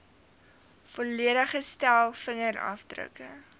volledige stel vingerafdrukke